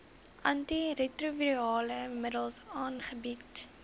antiretrovirale middels aangebied